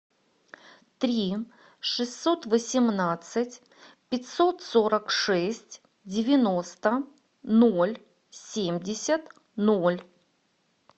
три шестьсот восемнадцать пятьсот сорок шесть девяносто ноль семьдесят ноль